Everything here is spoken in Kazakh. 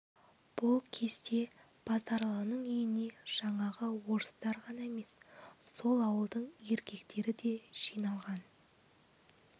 бұл кезде базаралының үйіне жаңағы орыстар ғана емес сол ауылдың еркектері де жиналған